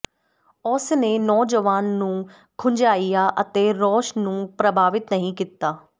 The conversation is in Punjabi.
ਉਸ ਨੇ ਨੌਜਵਾਨ ਨੂੰ ਖੁੰਝਾਇਆ ਅਤੇ ਰੌਸ ਨੂੰ ਪ੍ਰਭਾਵਿਤ ਨਹੀਂ ਕੀਤਾ